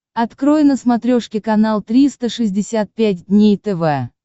открой на смотрешке канал триста шестьдесят пять дней тв